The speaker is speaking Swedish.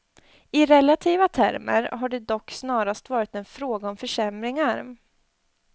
I relativa termer har det dock snarast varit en fråga om försämringar.